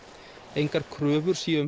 engar kröfur séu